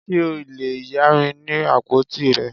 Ṣe o le ya mi ni apotí rẹ?